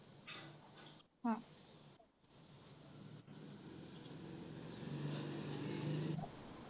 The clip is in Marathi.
हां